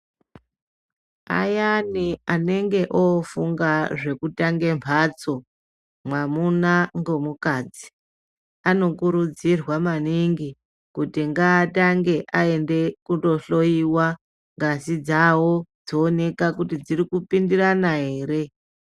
Ayani anenge o funga zveku tange mbatso mwamuna nge mukadzi ano kurudzirwa maningi kuti ngaatange aende ko dhloyiwa ngazi dzawo dzoonekwa kuti dziri kupindirana ere.